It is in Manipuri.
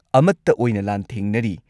ꯑꯃꯠꯇ ꯑꯣꯏꯅ ꯂꯥꯟꯊꯦꯡꯅꯔꯤ꯫